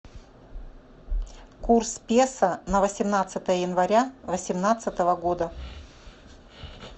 курс песо на восемнадцатое января восемнадцатого года